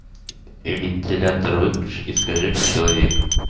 и вентилятор выключи и скажи как человек